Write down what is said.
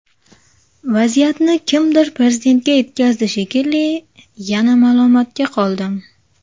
Vaziyatni kimdir Prezidentga yetkazdi shekilli, yana malomatga qoldim.